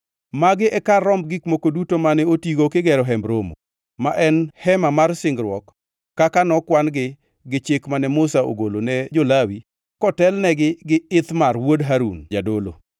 Magi e kar romb gik moko duto mane otigo kigero Hemb Romo, ma en Hema mar singruok kaka nokwan-gi gi chik mane Musa ogolo ne jo-Lawi kotelnegi gi Ithamar wuod Harun jadolo.